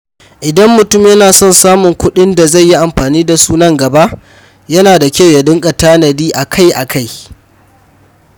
Idan mutum yana son samun kuɗin da zai yi amfani da su nan gaba, yana da kyau ya dinga tanadi akai-akai.